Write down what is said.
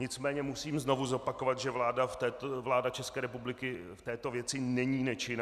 Nicméně musím znovu zopakovat, že vláda České republiky v této věci není nečinná.